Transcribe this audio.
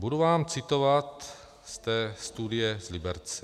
Budu vám citovat z té studie z Liberce.